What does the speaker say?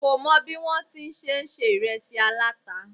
Kó mi bí wọn ti ń ṣe se ìresí aláta